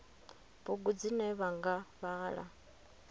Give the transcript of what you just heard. bugu dzine vha nga vhala